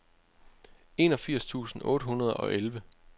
enogfirs tusind otte hundrede og elleve